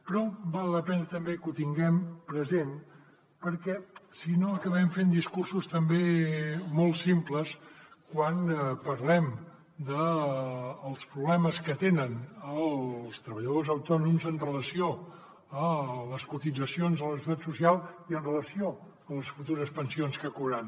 però val la pena també que ho tinguem present perquè si no acabem fent discursos també molt simples quan parlem dels problemes que tenen els treballadors autònoms amb relació a les cotitzacions a la seguretat social i amb relació a les futures pensions que cobraran